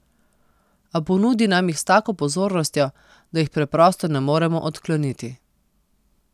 A ponudi nam jih s tako pozornostjo, da jih preprosto ne moremo odkloniti.